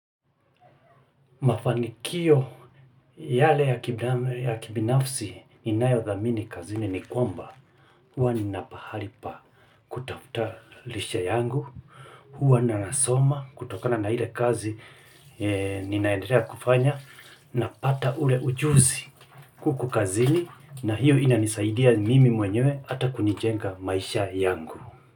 Mafanikio yale ya kibinafsi ninayodhamini kazini ni kwamba huwa ninapahali pa kutafuta lishe yangu huwa nasoma kutokana na ile kazi ninaendelea kufanya napata ule ujuzi kuku kazini na hiyo inanisaidia mimi mwenyewe ata kunijenga maisha yangu.